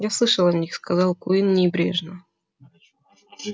я слышал о них сказал куинн небрежно